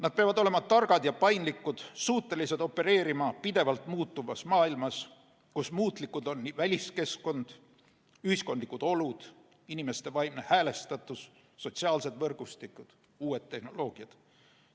Nad peavad olema targad ja paindlikud, suutelised opereerima pidevalt muutuvas maailmas, kus muutlikud on nii väliskeskkond, ühiskondlikud olud, inimeste vaimne häälestatus, sotsiaalsed võrgustikud kui ka uued tehnoloogiad.